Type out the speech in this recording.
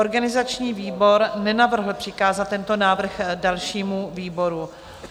Organizační výbor nenavrhl přikázat tento návrh dalšímu výboru.